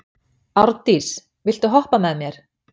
Árndís, viltu hoppa með mér?